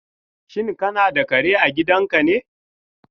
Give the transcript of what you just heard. Shin kana da kare a gidanka ne?